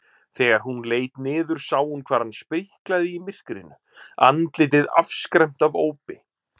Þegar hún leit niður sá hún hvar hann spriklaði í myrkrinu, andlitið afskræmt af ópi.